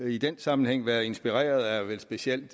i den sammenhæng været inspireret af vel specielt